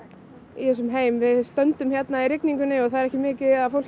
í þessum heimi við stöndum hérna í rigningunni og það er ekki mikið af fólki